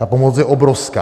Ta pomoc je obrovská.